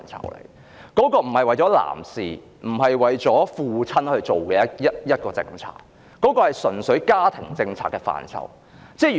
侍產假並非為男士及一眾父親制訂的政策，而純粹是家庭政策中的一個範疇。